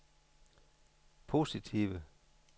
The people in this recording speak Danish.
positive